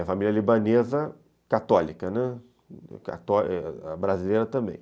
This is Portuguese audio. A família libanesa católica, né, a brasileira também.